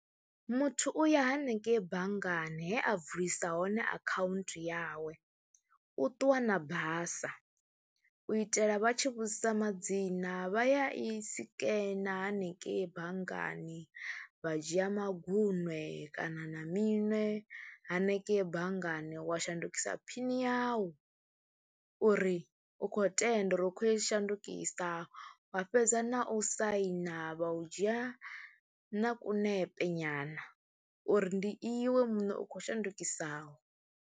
Muthu u ya haningei banngani he a vulisa hone akhaunthu yawe, u ṱuwa na basa u itela vha tshi vhudzisa madzina vha ya i sikene hanengeyi banngani wa dzhia maguṅwe kana na miṅwe hanengeyi banngani wa shandukisa phini yau uri u khou tenda uri u khou i shandukisa wa fhedza na u saina, vha u dzhia na kunepe nyana uri ndi iwe muṋe u khou shandukisaho.